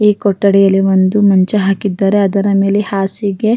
ಮತ್ತು ದಿಂಬು ಇಟ್ಟಿದ್ದಾರೆ ಅದರ ಮೇಲೆ ಒಬ್ಬ ಪುರುಷನು ಉಲ್ಟಾ ಮಲಗಿದ್ದಾನೆ.